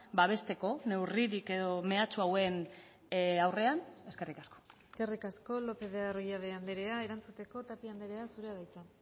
babesteko neurririk edo mehatxu hauen aurrean eskerrik asko eskerrik asko lópez de arroyabe andrea erantzuteko tapia andrea zurea da hitza